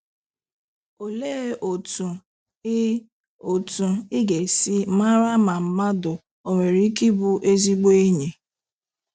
Olee otú ị otú ị ga-esi mara ma mmadụ ò nwere ike ịbụ ezigbo enyi?